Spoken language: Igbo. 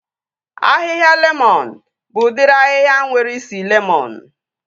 Ahịhịa lemọn bụ udiri ahịhịa nwere isi lemọn